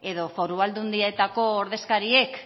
edo foru aldundietako ordezkariek